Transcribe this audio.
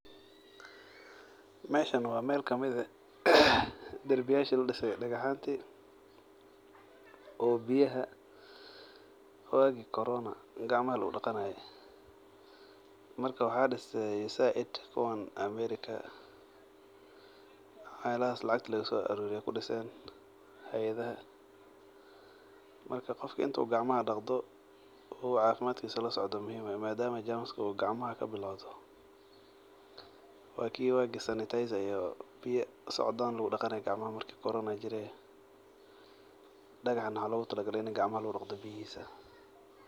Meshan wa meel kamid eeh darbiyashi ladise dagax yanti oo biyah waagi corona oo gacmaha lagudaqanaye. Marka waaxa dise aid kuwan America wax yalahas lacgta laguso aruriye ay kudiseen hayadha. Marka qofka intu gacmaha dagdo oo cafimadkisa lasocdo wa muhim madama germska oo gacamaha kabilowdo waa ki wagi serniterza iyo biyo socdaan lagudaqani jire dagaxna waxa logataligale into gacamaha lagu dagdo.